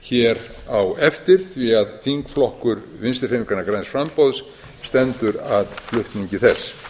hér á eftir því að þingflokkur vinstri hreyfingarinnar græns framboðs stendur að flutningi þess